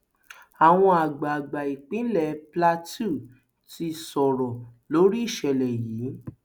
àwọn àgbààgbà ìpínlẹ plateau ti sọrọ lórí ìṣẹlẹ yìí